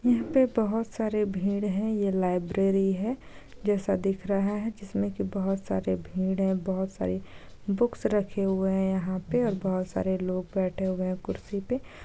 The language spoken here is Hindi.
यहाँ पर बहुत सारे भिड़ है ये लाइब्रेरी है जैसा दिख रहा है जिसमें की बहुत सारे भिड़ है बहुत सारी बुक्स रखे हुए है यहाँ पे और बहुत सारे लोग बैठे हुए है कुर्सी पे